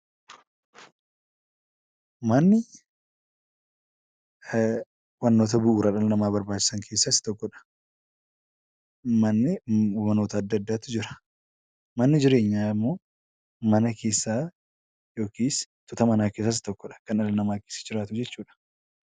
Manni wantoota bu'uura jireenya dhala namaatiif barbaachisan keessaa Isa tokkodha. Manni gosoota garaagaraatu jira. Manni jireenyaa immoo mana keessaa yookiis mana keessaa Isa tokkodha